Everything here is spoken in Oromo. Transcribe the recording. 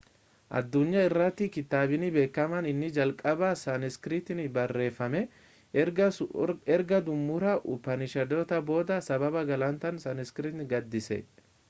addunyaa irrattii kitaabni beekamaan inni jalqabaa saaniskiritiiin barreeffame erga xumura upanishaadotaa booda sababa gulantaan saaniskiritiin gadhiise